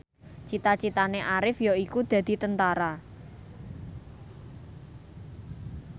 cita citane Arif yaiku dadi Tentara